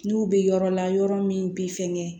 N'u bɛ yɔrɔ la yɔrɔ min bi fɛngɛ